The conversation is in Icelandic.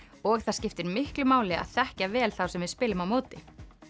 og það skiptir miklu máli að þekkja vel þá sem við spilum á móti